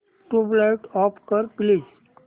tubelight off कर please